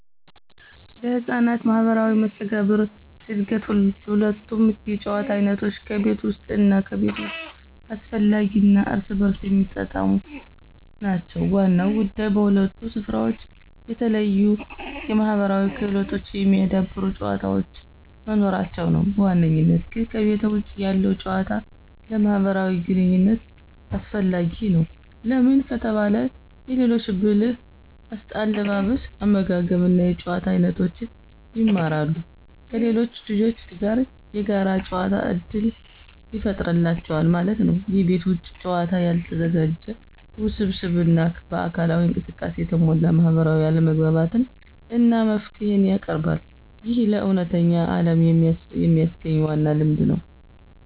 ለሕፃናት ማህበራዊ መስተጋብር እድገት ሁለቱም የጨዋታ አይነቶች (ከቤት ውስጥ እና ከቤት ውጭ) አስፈላጊ እና እርስ በርስ የሚጣጣሙ ናቸው። ዋናው ጉዳይ በሁለቱም ስፍራዎች የተለያዩ የማህበራዊ ክህሎቶችን የሚያዳብሩ ጨዋታዎች መኖራቸው ነው። በዋነኝነት ግን ከቤተ ውጭ ያለው ጭዋታ ለማህብራዊ ግንኝነት አሰፈላጊ ነው። ለምን ከተባለ የሌሎች ብህል አለባበስ አመጋገብ እና የጭዋታ አይኖቶችን ይማራሉ። ከሌሎች ልጆች ጋር የጋር ጨዋታ እድል ይፍጠሩላቸዋል ማለት ነው። የቤት ውጭ ጨዋታ ያልተዘጋጀ፣ ውስብስብ እና በአካላዊ እንቅስቃሴ የተሞላ ማህበራዊ አለመግባባትን እና መፍትሄን ያቀርባል። ይህ ለእውነተኛው ዓለም የሚያግኝ ዋና ልምድ ነው።